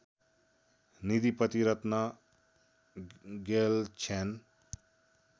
Nidhipati Ratna Gyalchhyan